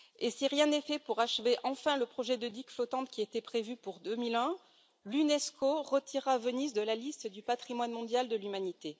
Si rien n'est fait pour enfin achever le projet de digues flottantes qui était prévu pour 2001, l'Unesco retirera Venise de la liste du Patrimoine mondial de l'humanité.